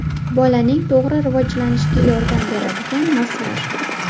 Bolaning to‘g‘ri rivojlanishiga yordam beradigan massaj.